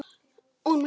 Og hún meinti það.